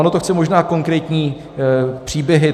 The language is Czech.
Ono to chce možná konkrétní příběhy.